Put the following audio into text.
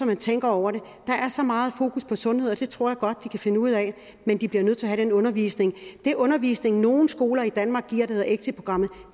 man tænker over det der er så meget fokus på sundhed og det tror jeg godt de kan finde ud af men de bliver nødt til at have den undervisning den undervisning som nogle skoler i danmark giver der hedder exitprogrammet